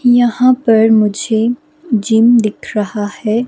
यहां पर मुझे जिम दिख रहा है।